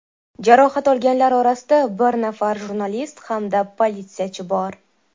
Jarohat olganlar orasida bir nafar jurnalist hamda politsiyachi bor.